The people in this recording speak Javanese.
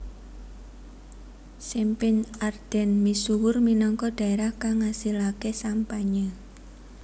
Champagne Ardenne misuwur minangka dhaerah kang ngasilaké sampanye